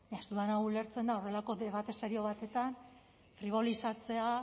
ez dudana ulertzen da horrelako debate serio batetan fribolizatzea